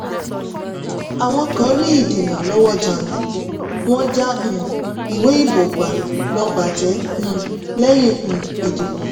àwọn kan rí ìdènà lọ́wọ́ jàǹdùkú wọ́n já um ìwé ìbò gbà lọ bàjẹ́ um lẹ́yìn um ìdìbò.